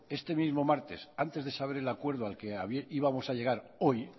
este mismo martes antes de saber el acuerdo al que íbamos a llegar hoy